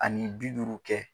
Ani bi duuru kɛ